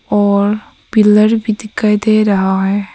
और पिलर भी दिखाई दे रहा है।